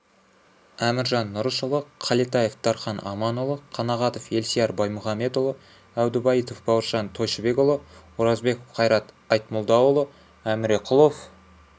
әміржан нұрышұлы қалетаев дархан аманұлы қанағатов елсияр баймұхамедұлы әбдубайытов бауыржан тойшыбекұлы оразбеков қайрат айтмолдаұлы әміреқұлов